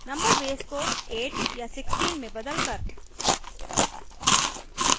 number base को 8 या 16 में बदलकर